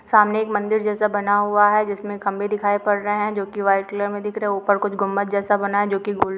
सामने एक मंदिर जैसा बना हुआ हैं जिसमे खंबे दिखाई पड रहे हैं जो की व्हाइट कलर में दिख रहे ऊपर कुछ गुंबद जैसा बनाया जो की गुल --